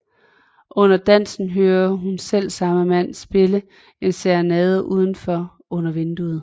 Under dansen hører hun selvsamme mand spille en serenade udenfor under vinduet